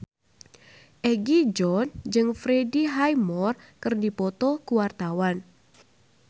Egi John jeung Freddie Highmore keur dipoto ku wartawan